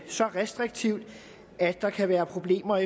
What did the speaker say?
så restriktivt at der kan være problemer